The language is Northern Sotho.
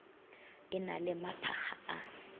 e na le maphakga a